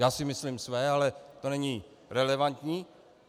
Já si myslím své, ale to není relevantní.